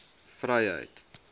vryheid